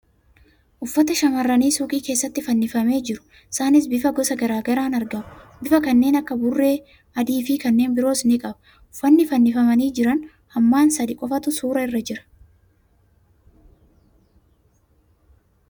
Uffata shamarranii suuqii keessatti fannifamee jiru. Isaanis bifa gosa gara garaan argamu. Bifa kanneen akka burree adii fi kanneen biroos ni qaba. Uffanni fannifamanii jiran hammaan sadii qofatu suura irra jira.